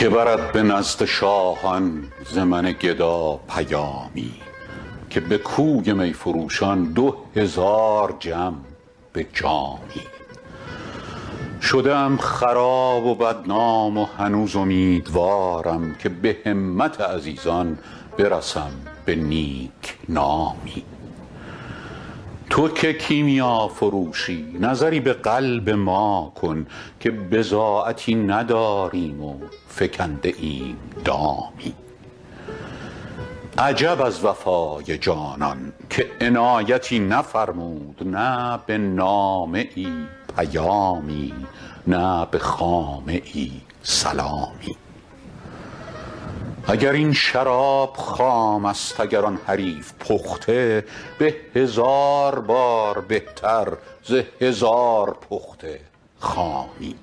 که برد به نزد شاهان ز من گدا پیامی که به کوی می فروشان دو هزار جم به جامی شده ام خراب و بدنام و هنوز امیدوارم که به همت عزیزان برسم به نیک نامی تو که کیمیافروشی نظری به قلب ما کن که بضاعتی نداریم و فکنده ایم دامی عجب از وفای جانان که عنایتی نفرمود نه به نامه ای پیامی نه به خامه ای سلامی اگر این شراب خام است اگر آن حریف پخته به هزار بار بهتر ز هزار پخته خامی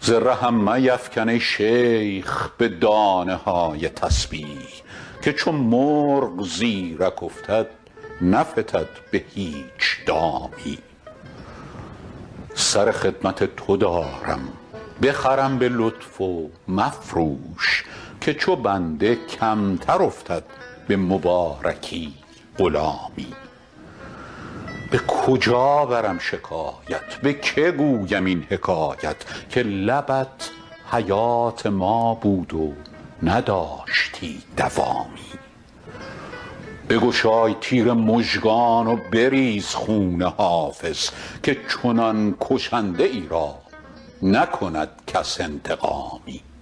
ز رهم میفکن ای شیخ به دانه های تسبیح که چو مرغ زیرک افتد نفتد به هیچ دامی سر خدمت تو دارم بخرم به لطف و مفروش که چو بنده کمتر افتد به مبارکی غلامی به کجا برم شکایت به که گویم این حکایت که لبت حیات ما بود و نداشتی دوامی بگشای تیر مژگان و بریز خون حافظ که چنان کشنده ای را نکند کس انتقامی